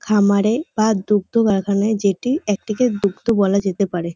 খামারে বা দুগ্ধ বাগানে যেটি একটিকে দুগ্ধ বলা যেতে পারে ।